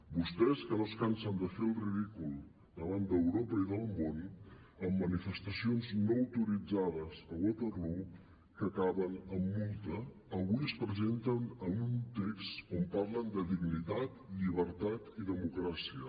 vostès que no es cansen de fer el ridícul davant d’europa i del món amb manifestacions no autoritzades a waterloo que acaben amb multa avui es presenten amb un text on parlen de dignitat llibertat i democràcia